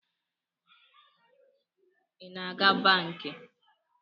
I na-aga banki?